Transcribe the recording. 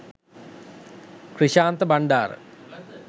krishantha bandara